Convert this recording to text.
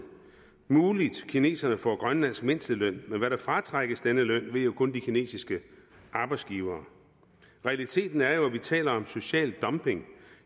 muligt at kineserne får grønlandsk mindsteløn men hvad der fratrækkes denne løn ved jo kun de kinesiske arbejdsgivere realiteten er jo at vi taler om social dumping